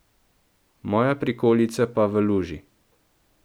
Moja prikolica pa v luži.